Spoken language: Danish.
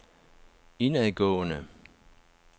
indadgående